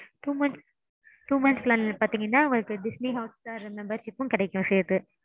two months two months plan பாத்தீங்கன்னா உங்களுக்கு Disney Hotstar membership ம் கிடைக்கும் சேத்து.